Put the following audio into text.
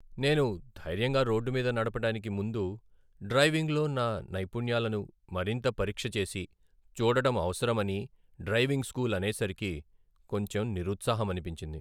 నేను ధైర్యంగా రోడ్డు మీద నడపడానికి ముందు డ్రైవింగ్లో నా నైపుణ్యాలను మరింత పరీక్షచేసి చూడడం అవసరమని డ్రైవింగ్ స్కూల్ అనేసరికి కొంచెం నిరుత్సాహమనిపించింది.